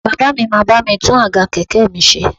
Bàbá mi máa bá mi tún àga kẹ̀kẹ́ mi ṣe